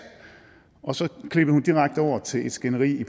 og så klippede hun direkte over til et skænderi i